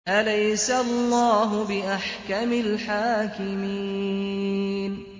أَلَيْسَ اللَّهُ بِأَحْكَمِ الْحَاكِمِينَ